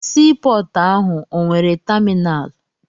Sii pọọtụ ahụ o nwere taminalụ?